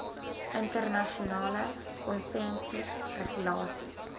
internasionale konvensies regulasies